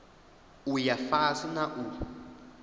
u ya fhasi na u